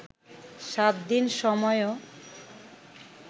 সাতদিন সময়ও